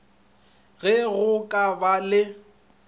ge go ka ba le